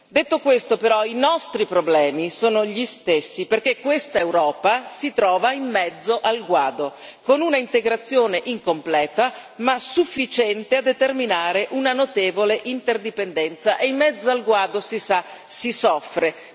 Detto questo, però, i nostri problemi sono gli stessi perché questa Europa si trova in mezzo al guado, con un'integrazione incompleta ma sufficiente a determinare una notevole interdipendenza e in mezzo al guado, si sa, si soffre.